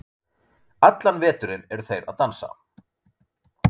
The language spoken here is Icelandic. Allan veturinn eru þeir að dansa.